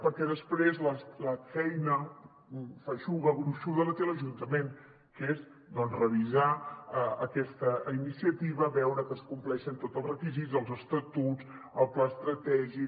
perquè després la feina feixuga gruixuda la té l’ajuntament què és doncs revisar aquesta iniciativa veure que es compleixen tots els requisits els estatuts el pla estratègic